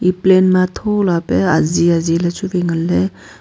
pline ma thola pe aji aji le chuwai nganle.